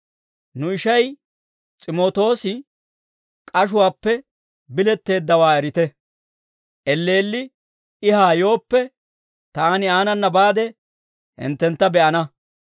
Nu ishay, S'imootoosi k'ashuwaappe biletteeddawaa erite. Elleelli I haa yooppe, taani aanana baade hinttentta be'ana.